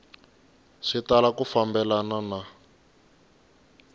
swi tala ku fambelena na